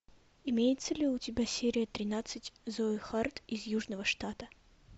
имеется ли у тебя серия тринадцать зои харт из южного штата